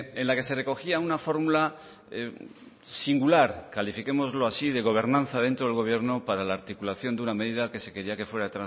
en la que se recogía una fórmula singular califiquémoslo así de gobernanza dentro del gobierno para la articulación de una medida que se quería que fuera